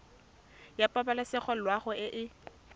ya pabalesego loago e e